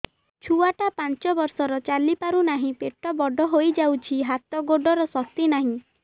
ଛୁଆଟା ପାଞ୍ଚ ବର୍ଷର ଚାଲି ପାରୁନାହଁ ପେଟ ବଡ ହୋଇ ଯାଉଛି ହାତ ଗୋଡ଼ର ଶକ୍ତି ନାହିଁ